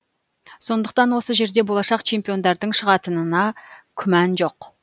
сондықтан осы жерде болашақ чемпиондардың шығатынына күмән жоқ